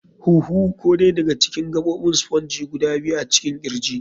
huhu. [lŭng] Ko dai daga cikin gabobin spongy guda biyu a cikin kirji.